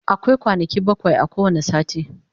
akwai kwanaki bakwai a kowani sati